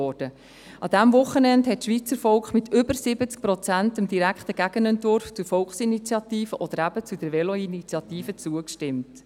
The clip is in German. An diesem Wochenende hat das Schweizer Volk mit über 70 Prozent dem direkten Gegenentwurf zur Veloinitiative zugestimmt.